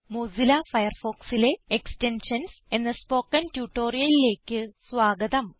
Mozilla ഫയർഫോക്സിലെ extensions എന്ന spoken ട്യൂട്ടോറിയലിലേക്ക് സ്വാഗതം